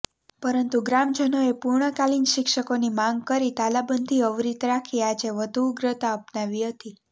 પરંતુ ગ્રામજનોએ પૂર્ણકાલીન શિક્ષકોની માંગ કરી તાલાબંધી અવિરત રાખી આજે વધુ ઉગ્રતા અપનાવી હતી